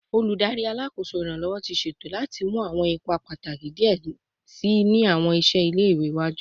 Oludari Alakoso Iranlọwọ ti ṣeto lati mu awọn ipa pataki diẹ sii ni awọn iṣẹ ile-iwe iwaju